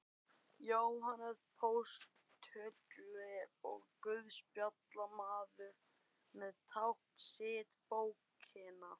Jóhannes postuli og guðspjallamaður með tákn sitt bókina.